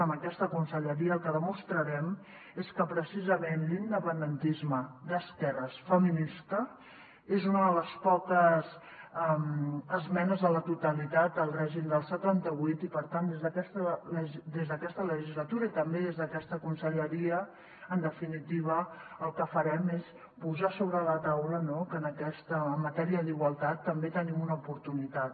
amb aquesta conselleria el que demostrarem és que precisament l’independentisme d’esquerres feminista és una de les poques esmenes a la totalitat al règim del setanta vuit i per tant des d’aquesta legislatura i també des d’aquesta conselleria en definitiva el que farem és posar sobre la taula no que en aquesta matèria d’igualtat també tenim una oportunitat